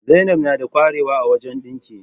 Zainab nada qwarewa a wajan dinki